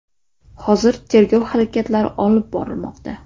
Hozir tergov harakatlari olib borilmoqda.